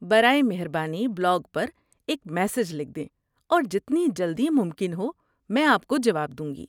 برائے مہربانی بلاگ پر ایک میسج لکھ دیں اور جتنی جلدی ممکن ہو میں آپ کو جواب دوں گی۔